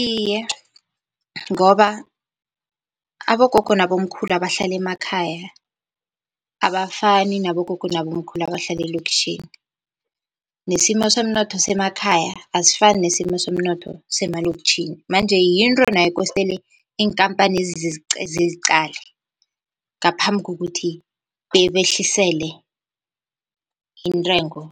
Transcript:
Iye, ngoba abogogo nabomkhulu abahlala emakhaya abafani nabogogo nabobamkhulu abahlala eloktjhini nesimo somnotho semakhaya asifani nesimo somnotho semaloktjhini manje yinto nayo kostele iinkampanezi ziziqale ngaphambi kokuthi behlisele intengo